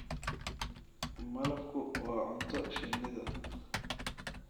Malabku waa cunto shinnida.